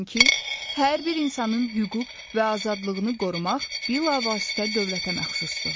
Çünki hər bir insanın hüquq və azadlığını qorumaq bilavasitə dövlətə məxsusdur.